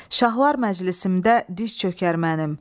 Şahlar məclisimdə diz çökər mənim.